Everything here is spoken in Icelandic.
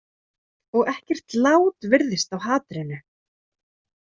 Og ekkert lát virðist á hatrinu.